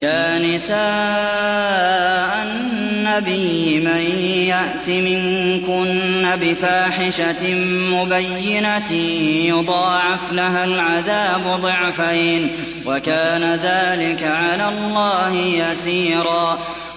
يَا نِسَاءَ النَّبِيِّ مَن يَأْتِ مِنكُنَّ بِفَاحِشَةٍ مُّبَيِّنَةٍ يُضَاعَفْ لَهَا الْعَذَابُ ضِعْفَيْنِ ۚ وَكَانَ ذَٰلِكَ عَلَى اللَّهِ يَسِيرًا